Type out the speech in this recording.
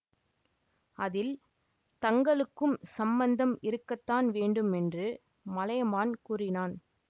அதில் தங்களுக்கும் சம்பந்தம் இருக்கத்தான் வேண்டும் என்று மலையமான் கூறினான்